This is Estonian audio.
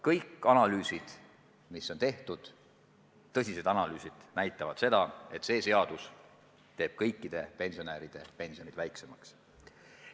Kõik tõsised analüüsid, mis on tehtud, näitavad seda, et see seadus teeb kõikide pensionäride pensioni väiksemaks.